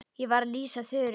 Ég var að lýsa Þuru.